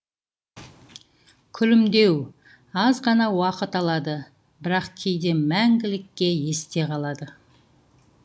күлімдеу аз ғана уақыт алады бірақ кейде мәңгілікке есте қалады